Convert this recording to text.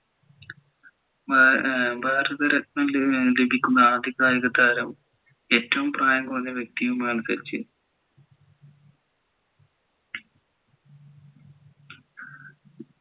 ഭാരത രത്ന ലഭിക്കുന്ന ആദ്യ കായിക താരം ഏറ്റവും പ്രായം കുറന്ന വ്യെക്തിയുമാണ് സച്ചിൻ